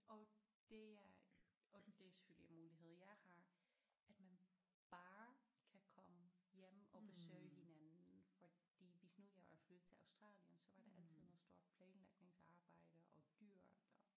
Og det er og det er selvfølgelig en mulighed jeg har at man bare kan komme hjem og besøge hinanden fordi hvis nu jeg var flyttet til Australien så var der altid noget stort planlægningsarbejde og dyrt og